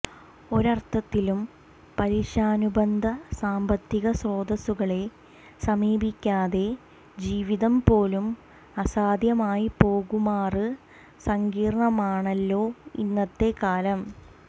ഒരര്ഥത്തില് പലിശാനുബന്ധ സാമ്പത്തിക സ്രോതസ്സുകളെ സമീപിക്കാതെ ജീവിതം പോലും അസാധ്യമായിപ്പോകുമാറ് സങ്കീര്ണമാണല്ലോ ഇന്നത്തെ കാലം